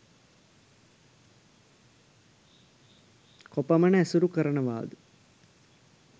කොපමණ ඇසුරු කරනවාද?